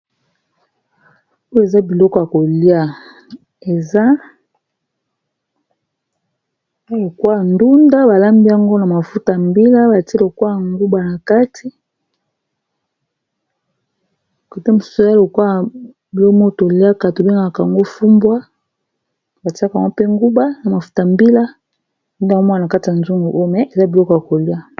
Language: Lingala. oyo eza biloko ya kolia eza lokola ndunda balambiango na mafuta mbila batie lokwa ya nguba na kati kote mosusu oza lokwaya bilomo toliaka tobengaka yango fumbwa batiaka ngwa mpe nguba na mafuta mbila amwa na kati ya zongu oyo me eza biloko ya kolia